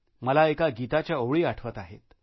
मला एका गीताच्या ओळी आठवतात